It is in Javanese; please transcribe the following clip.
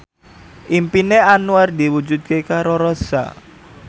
impine Anwar diwujudke karo Rossa